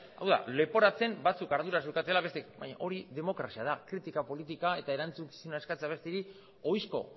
hau da leporatzen batzuk arduraz jokatu dutela baina hori demokrazia da kritika politika eta erantzukizuna eskatzea besteei ohizko